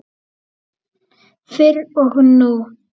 Fyrr og nú.